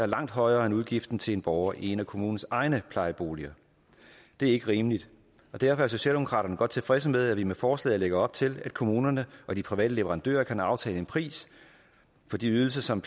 langt højere end udgiften til en borger i en af kommunens egne plejeboliger det er ikke rimeligt og derfor er socialdemokraterne godt tilfredse med at vi med forslaget lægger op til at kommunerne og de private leverandører kan aftale en pris for de ydelser som